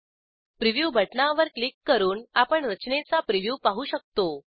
preview बटणावर click करून आपण रचनेचा प्रिव्ह्यू पाहू शकतो